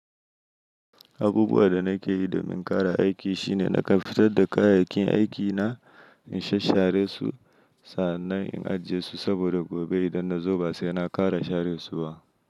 Abubuwa da nake yi domin ƙara aiki shine na fitar da kayayyakin aikina in sha share su. Sannan in ajiye su saboda gobe idan na zo ba saina kara share su ba.